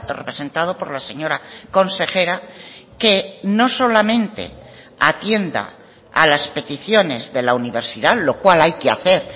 representado por la señora consejera que no solamente atienda a las peticiones de la universidad lo cual hay que hacer